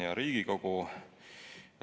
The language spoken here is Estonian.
Hea Riigikogu!